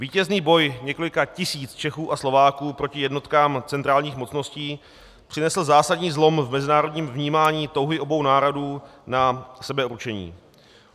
Vítězný boj několika tisíc Čechů a Slováků proti jednotkám centrálních mocností přinesl zásadní zlom v mezinárodním vnímání touhy obou národů na sebeurčení.